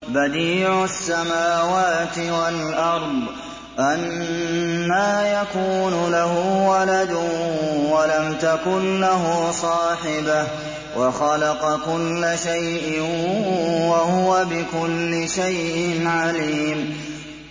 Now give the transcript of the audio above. بَدِيعُ السَّمَاوَاتِ وَالْأَرْضِ ۖ أَنَّىٰ يَكُونُ لَهُ وَلَدٌ وَلَمْ تَكُن لَّهُ صَاحِبَةٌ ۖ وَخَلَقَ كُلَّ شَيْءٍ ۖ وَهُوَ بِكُلِّ شَيْءٍ عَلِيمٌ